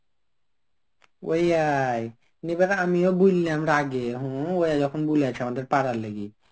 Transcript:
ওই আয়. আমিও বললাম রাগে. হম ওরা যখন বুলেছে আমাদের পাড়ার লেগে.